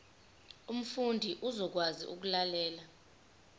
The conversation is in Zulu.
umfundi uzokwazi ukulalela